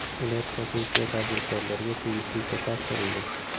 Ular sotuvchi va tadbirkorlarga tegishlicha topshirildi.